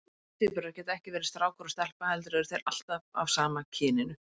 Síamstvíburar geta ekki verið strákur og stelpa heldur eru þeir alltaf af sama kyninu.